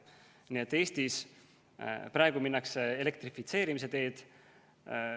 Nii et Eestis praegu minnakse elektrifitseerimise teed.